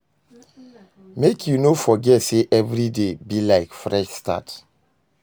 Mek you no forget sey evriday be like fresh start.